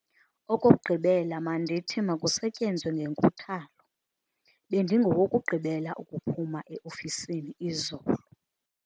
Okokugqibela mandithi makusetyenzwe ngenkuthalo. Bendingowokugqibela ukuphuma e-ofisini izolo.